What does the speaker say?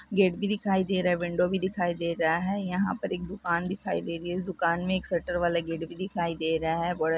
Gate भी दिखाई दे रहा है विंडो भी दिखाई दे रहा है यहाँ पर एक दुकान दिखाई दे रही है दुकान मे एक शटर वाले गेट भी दिखाई दे रहा है।